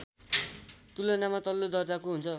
तुलनामा तल्लो दर्जाको हुन्छ